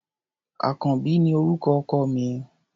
Àkànbí ni orúkọ ọkọ mi.